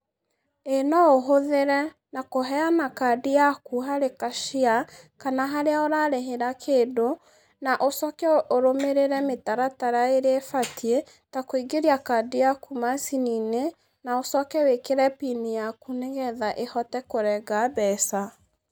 ĩĩ noũhũthĩre, na kũheana kaadi yaku harĩ cashier, kana harĩa ũrarĩhĩra kĩndũ, na ũcooke ũrũmĩrĩre mĩtaratara ĩrĩa ĩbatiĩ, ta kũingĩria kaadi yaku maacini-inĩ, na ũcooke wĩkĩre PIN yaaku nĩgetha ĩhote kũrenga mbeca.